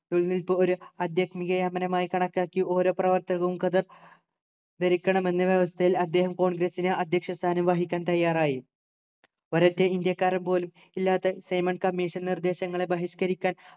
നൂൽനൂൽപ്പ് ഒരു ആധ്യാത്മികയമനമായ്‌ കണക്കാക്കി ഓരോ പ്രവർത്തകരും ഖദർ ധരിക്കണമെന്നു വ്യവസ്ഥയിൽ അദ്ദേഹം congress നു അധ്യക്ഷ സ്ഥാനം വഹിക്കാൻ തയ്യാറായി ഒരൊറ്റ ഇന്ത്യക്കാരൻ പോലും ഇല്ലാത്ത സൈമൺ commission ൻ്റെ നിർദേശങ്ങളെ ബഹിഷ്ക്കരിക്കാൻ